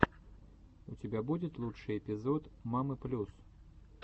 у тебя будет лучший эпизод мамы плюс